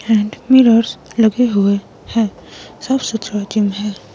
Hand mirrors लगे हुए हैं साफ सुथरा जिम है।